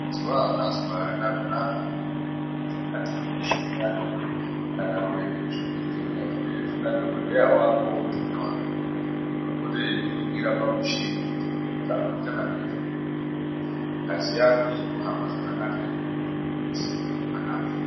Zwawakazwa arina kunaka muntu unoda kuti atenge muchini wake kana kuenda kuchibhedhleya kuna dhokoteya waunoti ngewako unopota eikuningira pamuchini kuti nyama dzako dzichakamira zvakaaka ere ngazi yako ichikuhamba zvakanaka ere nemututu wekufema wakanaka ere.